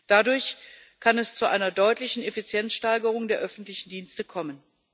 Dadurch kann es zu einer deutlichen Effizienzsteigerung der öffentlichen Dienste kommen.